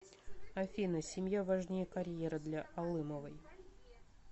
афина семья важнее карьеры для алымовой